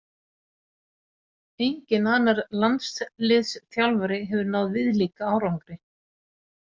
Enginn annar landsliðsþjálfari hefur náð viðlíka árangri.